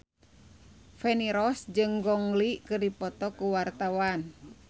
Feni Rose jeung Gong Li keur dipoto ku wartawan